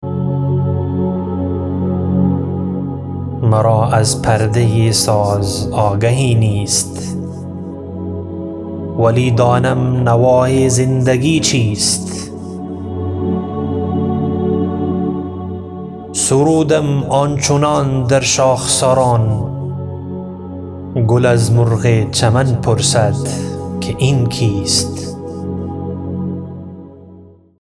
مرا از پرده ساز آگهی نیست ولی دانم نوای زندگی چیست سرودم آنچنان در شاخساران گل از مرغ چمن پرسد که این کیست